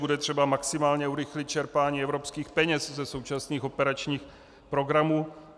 Bude třeba maximálně urychlit čerpání evropských peněz ze současných operačních programů.